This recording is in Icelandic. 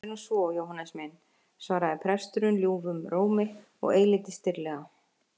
Það er nú svo, Jóhannes minn, svaraði prestur ljúfum rómi og eilítið stirðlega.